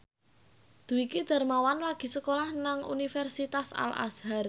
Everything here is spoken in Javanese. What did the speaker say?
Dwiki Darmawan lagi sekolah nang Universitas Al Azhar